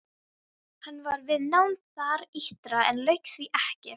Hann var við nám þar ytra en lauk því ekki.